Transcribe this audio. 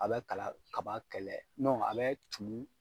A bɛ kala kaba kɛlɛ a bɛ tumu